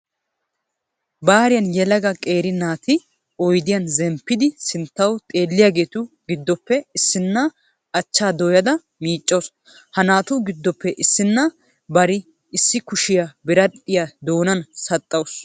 Bariyan yelaga qeeri naati oydiyan zemppidi sinttawu xeelliyageetu giddoppe issinna achvhaa dooyada miiccawu. Ha naatu giddoppe issinna bari issikushiya biradhdhiya doonansaxxauttaasu.